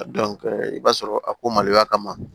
i b'a sɔrɔ a ko maloya kama